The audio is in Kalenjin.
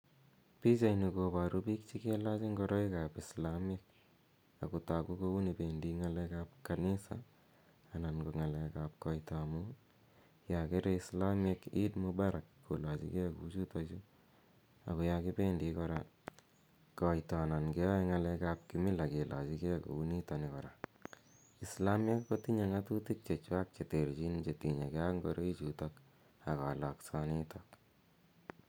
Pichaini koparu pik che kelach ngoroik ap Islamiek ako tagu ko uni pendi ng'alek ap Kanisa anan ko ng'alek ap koito amu ya kere Islamiek Eid Mubarak kolachi gei kou chutachu. Ako ya kipendi koito anan keyae ng'alek ap kimila kilachigei kou nitani kora. Islamiek ko tinye ng'atutik che chwak che terchin che tinye gei ak ngoroichutok ak kalaksanitok.